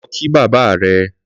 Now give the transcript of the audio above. Lọ kí bàbà rẹ̀